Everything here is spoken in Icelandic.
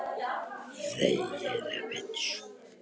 Æðarnar á gagnaugunum tútnuðu út.